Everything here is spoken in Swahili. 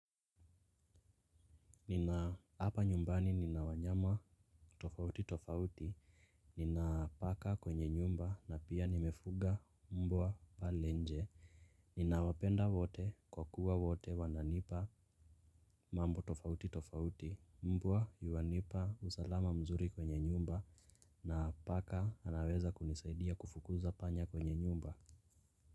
Nina japa nyumbani nina wanyama tofauti tofauti. Nina paka kwenye nyumba na pia nimefuga mbwa pale nje. Ninawapenda wote kwa kuwa wote wananipa mambo tofauti tofauti. Mbwa yuanipa usalama mzuri kwenye nyumba na paka anaweza kunisaidia kufukuza panya kwenye nyumba.